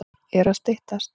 Er að styttast?